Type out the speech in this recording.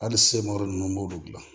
Hali semɔri ninnu b'olu dilan